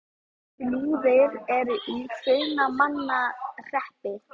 Flúðir er í Hrunamannahreppi.